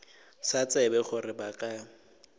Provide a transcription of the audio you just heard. sa tsebe gore ba ka